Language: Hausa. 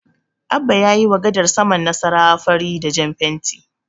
Abba ya yiwa gasar saman Nasarawa fari da jan fenti.